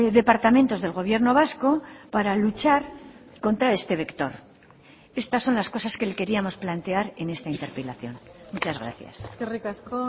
departamentos del gobierno vasco para luchar contra este vector estas son las cosas que le queríamos plantear en esta interpelación muchas gracias eskerrik asko